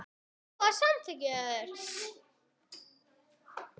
SOPHUS: Þakka.